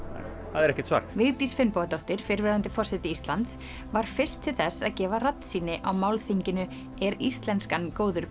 það er ekkert svar Vigdís Finnbogadóttir fyrrverandi forseti Íslands var fyrst til þess að gefa á málþinginu er íslenskan góður